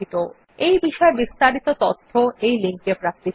এই বিষয় বিস্তারিত তথ্য এই লিঙ্ক এ প্রাপ্তিসাধ্য